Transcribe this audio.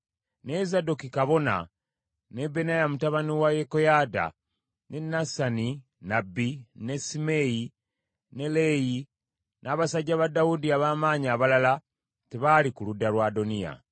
Naye Zadooki kabona, ne Benaya mutabani wa Yekoyaada, ne Nasani nnabbi, ne Simeeyi, ne Leeyi, n’abasajja ba Dawudi ab’amaanyi abalala tebaali ku ludda lwa Adoniya.